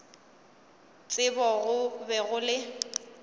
tsebo go be go le